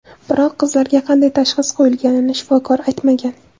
Biroq qizlarga qanday tashxis qo‘yilganini shifokor aytmagan.